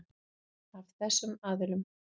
Af þessum aðilum.